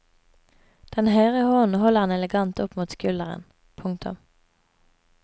Den høyre hånden holder han elegant opp mot skulderen. punktum